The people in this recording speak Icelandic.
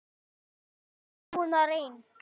Hann er búinn að reyn